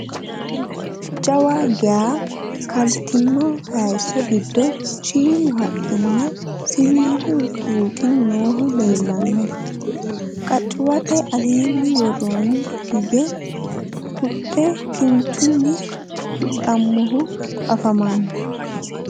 Jawa geeya kalittinno hayiisso giddo shiimmu haqqi nna siwiillu tuuqqi noohu leelanno. qaccuwatte alenna woroonni hige huxxu kinchchunni huxxamohu affammanno